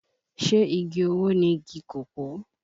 Ṣé igi owó ni igi kòkó?